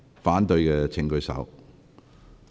反對的請舉手。